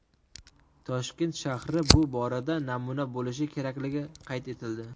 Toshkent shahri bu borada namuna bo‘lishi kerakligi qayd etildi.